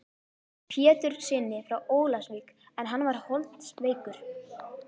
Péturssyni frá Ólafsvík en hann var holdsveikur.